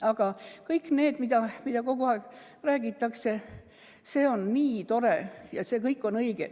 Aga kõik need teemad, millest kogu aeg räägitakse, on õiged.